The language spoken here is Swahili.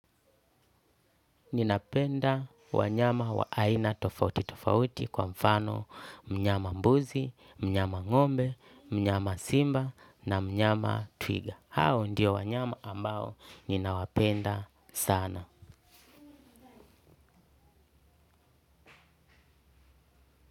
Ninapenda wanyama wa aina tofauti tofauti kwa mfano mnyama mbuzi, mnyama ng'ombe, mnyama simba na mnyama twiga. Hao ndio wanyama ambao ninawapenda sana.